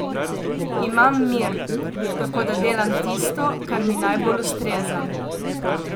Imam mir, tako da delam tisto, kar mi najbolj ustreza.